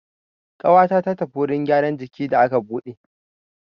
Ƙawata ta tafi wurin gyaran jiki da aka buɗe.